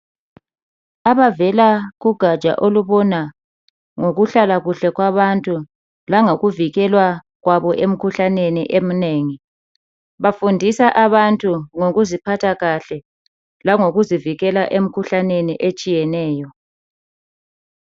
Abavela kugaja olubona ngoku hlala kuhle kwabantu langokuvikelwa kwabo emkhuhlaneni eminengi bafundisa abantu ngoku ziphatha kahle langokuzivikela emkhuhlaneni etshiyeneyo.